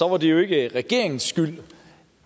var det jo ikke regeringens skyld